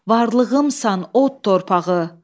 Varlığımsan, od torpağı.